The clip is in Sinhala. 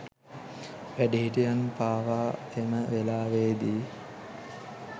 වැඩිහිටියන් පවා එම වෙලාවේදී